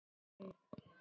Fleiri urðu mörkin ekki.